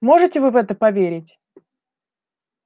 можете вы в это поверить